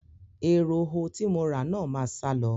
Eroho tí mo rà náà máa sálọ.